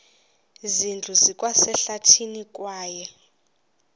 zindlu zikwasehlathini kwaye